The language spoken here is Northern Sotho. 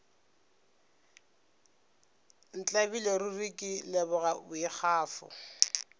ntlabile ruri ke leboga boikgafo